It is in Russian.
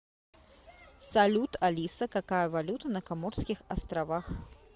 салют алиса какая валюта на коморских островах